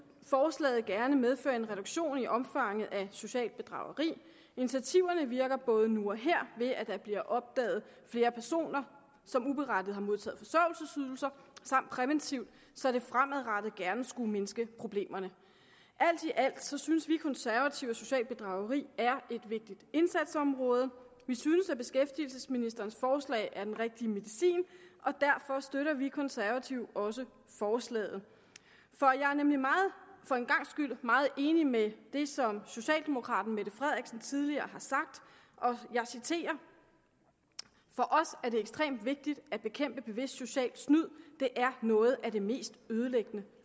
forslaget gerne medføre en reduktion i omfanget af socialt bedrageri initiativerne virker både nu og her ved at der bliver opdaget flere personer som uberettiget har modtaget forsørgelsesydelser samt præventivt så det fremadrettet gerne skulle mindske problemerne alt i alt synes synes vi konservative at socialt bedrageri er et vigtigt indsatsområde vi synes at beskæftigelsesministerens forslag er den rigtige medicin og derfor støtter vi konservative også forslaget for jeg er nemlig for en gangs skyld meget enig med det som socialdemokraten fru mette frederiksen tidligere har sagt og jeg citerer for os er det ekstremt vigtigt at bekæmpe bevidst socialt snyd det er noget af det mest ødelæggende